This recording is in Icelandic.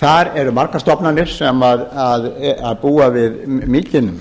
þar eru margar stofnanir sem búa við mikinn